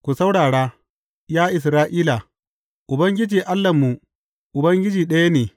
Ku saurara, ya Isra’ila, Ubangiji Allahnmu, Ubangiji ɗaya ne.